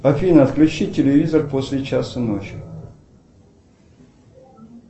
афина отключи телевизор после часа ночи